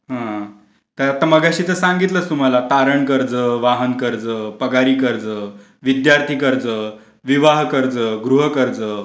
हा हा तर आता मगाशी तर सांगितलं तुम्हाला तारण कर्ज, वाहन कर्ज, पगारी कर्ज, विद्यार्थी कर्ज, विवाह कर्ज, गृह कर्ज,